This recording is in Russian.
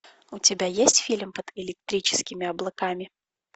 у тебя есть фильм под электрическими облаками